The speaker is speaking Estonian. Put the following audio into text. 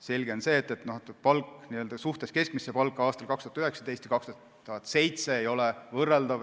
Selge on see, et kohtuniku palk n-ö suhtes keskmisesse palka aastal 2019 ja 2007 ei ole võrreldavad.